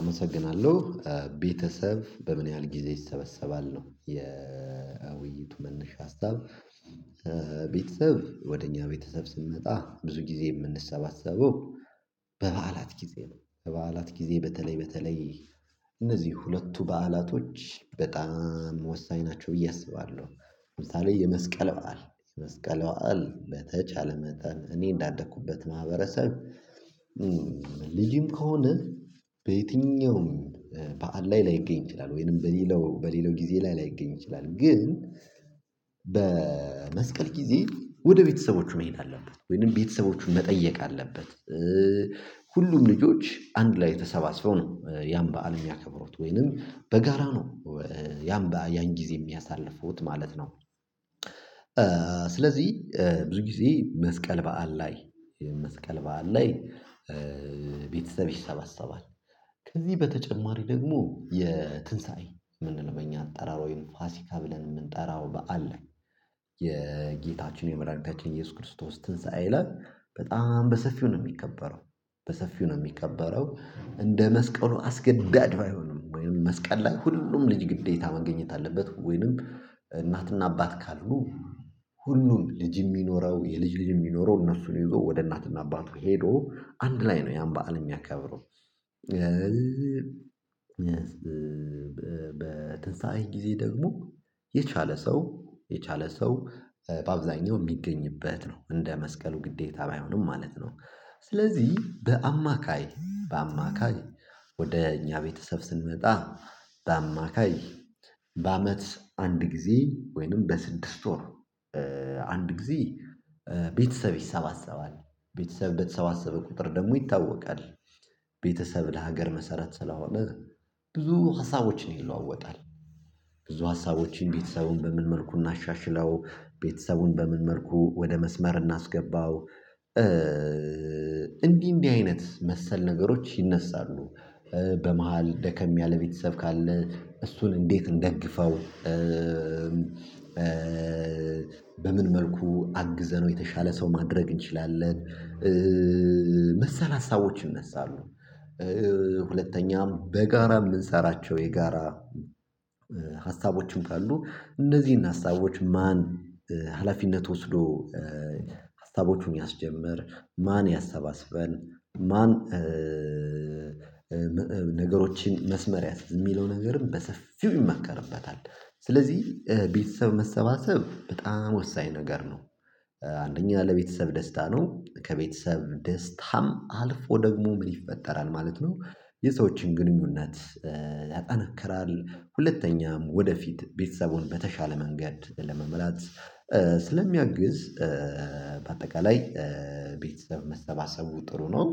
አመሰግናለሁ ቤተሰብ በምን ያህል ጊዜ ይሰበሰባል ነው የውይይቱ መነሻ ሀሳብ? ቤተሰብ ወደ እኛ ቤተሰብ ስንመጣ ብዙ ጊዜ የምንሰባሰበው በበዓላት ጊዜ ነው በበዓላት ጊዜ በተለይ በተለይ እነዚህ ሁለቱ በዓላቶች በጣም ወሳኝ ናቸው ብዬ አስባለሁ። ለምሳሌ የመስቀል በዓል የመስቀል በዓል በተቻለ መጠን እኔ እንዳደኩበት ማህበረሰብ። ልጅም ከሆነ በየትኛውም በዓል ላይ ላይገኝ ይችላል። ወይንም በሌላው በሌላው ጊዜ ላይ ላይገኝ ይችላል። ግን በመስቀል ጊዜ ወደ ቤተሰቦቹ መሄድ አለበት ወይንም ቤተሰቦቹን መጠየቅ አለበት። ሁሉም ልጆች አንድ ላይ ተሰባስበው ነው ያን በዓል የሚያከብሩት ወይንም በጋራ ነው። ያን በዓል ያን ጊዜ የሚያሳልፉት ማለት ነው። ስለዚህ ብዙ ጊዜ መስቀል በዓል ላይ መስቀል በዓል ላይ ቤተሰብ ይሰባሰባል። ከዚህ በተጨማሪ ደግሞ የትንሳኤ ምንድነው? በእኛ አጠራር ወይም ፋሲካ ብለን የምንጠራው በዓል አለ። የጌታችን የመድኃኒታችን የኢየሱስ ክርስቶስ ትንሳኤ ላይ በጣም በሰፊው ነው የሚከበረው። በሰፊው ነው የሚከበረው እንደ መስቀሉ አስገዳጅ ባይሆንም ወይም መስቀል ላይ ሁሉም ልጅ ግዴታ መገኘት አለበት። ወይንም እናትና አባት ካሉ ሁሉም ልጅም ይኑረው የልጅ ልጅ ይኑረው እነሱን ይዞ ወደ እናትና አባቱ ሄዶ አንድ ላይ ነው ያን በዓል የሚያከብረው። በትንሳዔ ጊዜ ደግሞ የቻለ ሰው የቻለ ሰው በአብዛኛው የሚገኝበት ነው እንደ መስቀሉ ግዴታ ባይሆንም ማለት ነው። ስለዚህ በአማካይ በአማካይ ወደ እኛ ቤተሰብ ስንመጣ በአማካይ በአመት አንድ ጊዜ ወይንም በስድስት ወር አንድ ጊዜ ቤተሰብ ይሰባሰባል። ቤተሰብ በተሰባሰበ ቁጥር ደግሞ ይታወቃል። ቤተሰብ ለሀገር መሰረት ስለሆነ ብዙ ሀሳቦችን ይለዋወጣል። ብዙ ሀሳቦችን ቤተሰቡን በምን መልኩ እናሻሽለው ቤተሰቡን በምን መልኩ ወደ መስመር እናስገባው? እንዲህ እንዲህ አይነት መሰል ነገሮች ይነሳሉ። በመሃል ደከም ያለ ቤተሰብ ካለ እሱን እንዴት እንደግፈው? በምን መልኩ አግዘነው የተሻለ ሰው ማድረግ እንችላለን። መሰል ሀሳቦች ይነሳሉ። ሁለተኛም በጋራ የምንሰራቸው የጋራ ሀሳቦችም ካሉ እነዚህን ሀሳቦች ማን? ሀላፊነት ወስዶ ሀሳቦቹን ያስጀምር። ማን ያሰባስበን ማን? ነገሮችን መስመር የሚለው ነገርም በሰፊው ይመከርበታል። ስለዚህ ቤተሰብ መሰባሰብ በጣም ወሳኝ ነገር ነው። አንደኛ ለቤተሰብ ደስታ ነው ከቤተሰብ ደስታም አልፎ ደግሞ ምን ይፈጠራል ማለት ነው። የሰዎችን ግንኙነት ያጠናክራል ሁለተኛም ወደፊት ቤተሰቡን በተሻለ መንገድ ለመምራት ስለሚያግዝ በአጠቃላይ ቤተሰብ መሰባሰቡ ጥሩ ነው።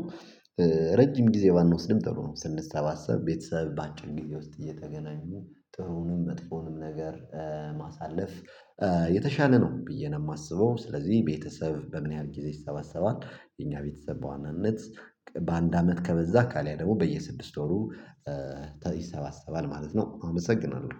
ረጅም ጊዜ ባንወስድም ጥሩ ነው ስንሰባሰብ ቤተሰብ በአጭር ጊዜ ውስጥ እየተገናኙ ጥሩንም መጥፎውንም ነገር በማሳለፍ የተሻለ ነው ብዬ ነው የማስበው። ስለዚህ ቤተሰብ በምን ያህል ጊዜ ይሰባሰባል የኛ ቤተሰብ በዋናነት በአንድ አመት ከበዛ ካልያ ደግሞ በየስድስት ወሩ ይሰባሰባል ማለት ነው። አመሰግናለሁ